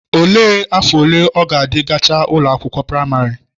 Olee afọ ole ọ gadi gachaa ụlọ akwụkwọ praịmarị?